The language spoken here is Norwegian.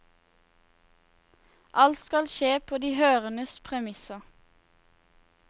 Alt skal skje på de hørendes premisser.